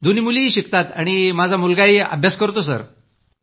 दोन्ही मुलीही शिकतात आणि माझा मुलगाही अभ्यास करतो सर